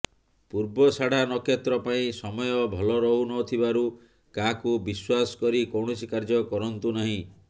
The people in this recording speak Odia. ପୂର୍ବଷାଢ଼ା ନକ୍ଷତ୍ର ପାଇଁ ସମୟ ଭଲରହୁନଥିବାରୁ କାହାକୁ ବିଶ୍ୱାସ କରି କୌଣସି କାର୍ଯ୍ୟ କରନ୍ତୁ ନାହିଁ